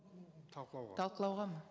талқылауға талқылауға ма